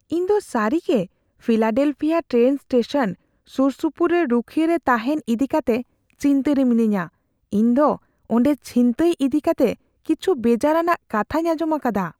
ᱤᱧ ᱫᱚ ᱥᱟᱹᱨᱤᱜᱮ ᱯᱷᱤᱞᱟᱰᱮᱞᱯᱷᱤᱭᱟ ᱴᱨᱮᱱ ᱥᱴᱮᱥᱚᱱ ᱥᱩᱨᱥᱩᱯᱩᱨ ᱨᱮ ᱨᱩᱠᱷᱤᱭᱟᱹ ᱨᱮ ᱛᱟᱦᱮᱱ ᱤᱫᱤ ᱠᱟᱛᱮ ᱪᱤᱱᱛᱟᱹᱨᱮ ᱢᱤᱱᱟᱹᱧᱟ; ᱤᱧᱫᱚ ᱚᱸᱰᱮ ᱪᱷᱤᱱᱛᱟᱹᱭ ᱤᱫᱤᱠᱟᱛᱮ ᱠᱤᱪᱷᱩ ᱵᱮᱡᱟᱨᱟᱱᱟᱜ ᱠᱟᱛᱷᱟᱧ ᱟᱸᱡᱚᱢ ᱟᱠᱟᱫᱟ ᱾